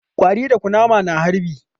Ƙwari da kunama na harbi